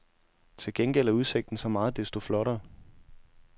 Til gengæld er udsigten så meget desto flottere.